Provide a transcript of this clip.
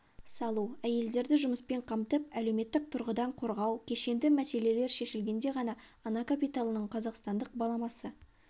салу әйелдерді жұмыспен қамтып әлеуметтік тұрғыдан қорғау кешенді мәселелер шешілгенде ғана ана капиталының қазақстандық баламасы